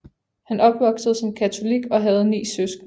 Han opvoksede som katolik og havde ni søskende